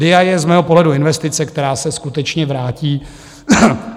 DIA je z mého pohledu investice, která se skutečně vrátí.